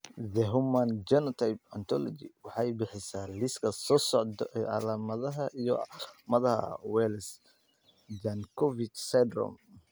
The Human Phenotype Ontology waxay bixisaa liiska soo socda ee calaamadaha iyo calaamadaha Wells Jankovic syndrome.